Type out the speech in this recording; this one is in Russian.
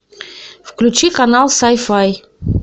включи канал сай фай